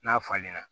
N'a falenna